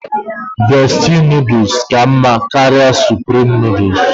Bestie nodles ka mma karịa supreme nodles